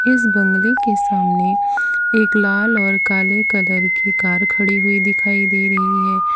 इस बंगले के सामने एक लाल और काले कलर की कार खड़ी हुई दिखाई दे रही है।